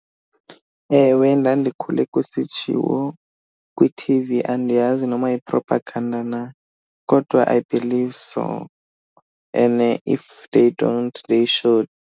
Ewe, ndandikhule kusitshiwo kwi-T_V, andiyazi noma yi-propaganda na, kodwa I believe so. And if they don't, they should.